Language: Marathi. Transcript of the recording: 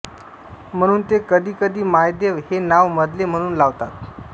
म्हणून ते कधीकधी मायदेव हे नाव मधले म्हणून लावतात